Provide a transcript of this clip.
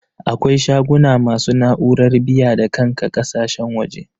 Akwai shaguna masu na'urar biya-da-kanka ƙakasashen waje.